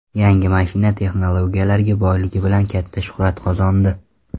Yangi mashina texnologiyalarga boyligi bilan katta shuhrat qozondi.